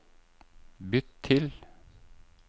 bytt til